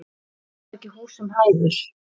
Hann var ekki húsum hæfur.